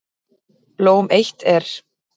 Blóm eitt er.